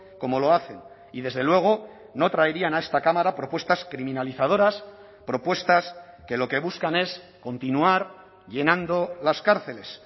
como lo hacen y desde luego no traerían a esta cámara propuestas criminalizadoras propuestas que lo que buscan es continuar llenando las cárceles